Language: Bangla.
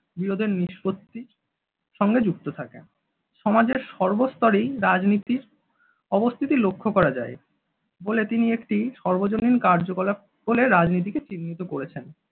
বিরোধের নিষ্পত্তি সঙ্গে যুক্ত থাকে সমাজের সর্বস্তরেই রাজনীতির অবস্থিতি লক্ষ্য করা যায় বলে তিনি একটি সর্বজনীন কার্যকলাপ বলে রাজনীতিকে চিহ্নিত করেছেন।